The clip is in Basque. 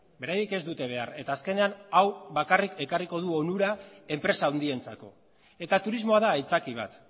beraiek ez dute behar eta azkenean hau bakarrik ekarriko du onura enpresa handientzako eta turismoa da aitzaki bat